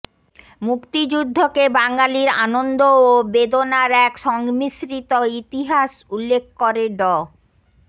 মুক্তিযুদ্ধকে বাঙালির আনন্দ ও বেদনার এক সংমিশ্রিত ইতিহাস উল্লেখ করে ড